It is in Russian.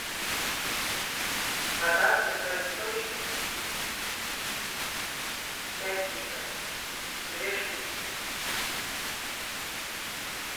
вода святой источник пять литров две штуки